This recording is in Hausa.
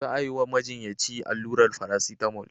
Za a yi wa majinyaci allurar farasitamol.